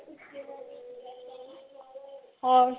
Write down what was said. ਹੋਰ